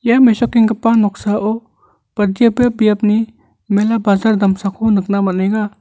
ia mesokenggipa noksao badiaba biapni mela bajar damsako nikna man·enga.